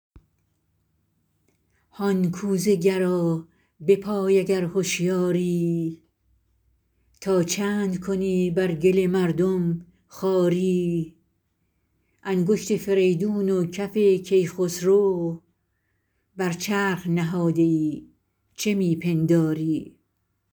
هان کوزه گرا بپای اگر هشیاری تا چند کنی بر گل مردم خواری انگشت فریدون و کف کی خسرو بر چرخ نهاده ای چه می پنداری